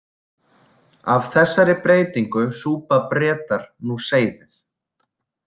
Af þessari breytingu súpa Bretar nú seyðið.